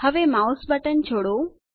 હવે mouse button છોડો